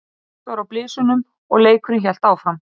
Slökkt var á blysunum og leikurinn hélt áfram.